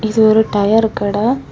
இது ஒரு டயரு கட.